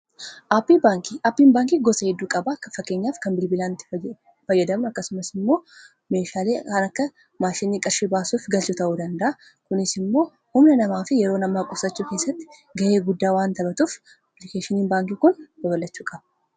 Aappiin baankii gosa hedduu qabaa fakkeenyaaf kan bilbilaan itti fayyadamnu akkasumas immoo meeshaalee kan akka maashini qarshi baasuuf galchu ta'uu danda'a kunis immoo humna namaafi yeroo namaa qusachuu keessatti ga'ee guddaa waan taphatuuf appilikeeshiniin baankii kun babal'achuu qaba.